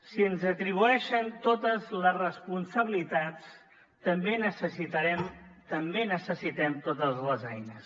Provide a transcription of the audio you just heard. si ens atribueixen totes les responsabilitats també necessitem totes les eines